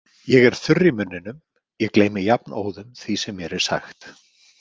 Ég er þurr í munninum, ég gleymi jafnóðum því sem mér er sagt.